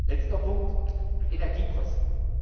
Letzter Punkt Energiekosten.